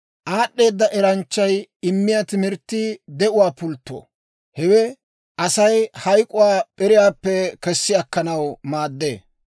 Aad'd'eeda eranchchay immiyaa timirttii de'uwaa pultto; hewe Asay hayk'k'uwaa p'iriyaappe kessi akkanaw maaddee.